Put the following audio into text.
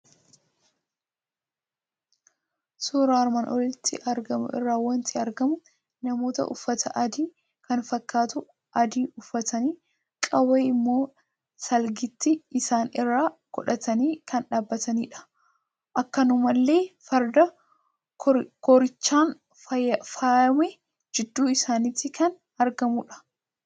Suuraa armaan olitti argamu irraa waanti argamu; namoota uffata aadaa kan fakkaatu adii uffatanii Qawwee immoo salgiitti isaani irra godhatani kan dhaabbatanidha. Akkanumallee Farda koorichaan faayamee gidduu isaanitti kan argamudha.